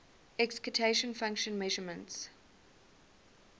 excitation function measurements